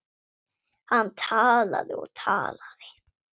Hann talaði og talaði.